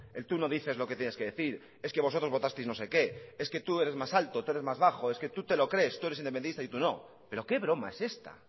el tú no dices lo que tienes que decir es que vosotros votasteis no sé qué es que tú eres más alto tú eres más bajo es que tú te lo crees tú eres independista y tú no pero qué broma es esta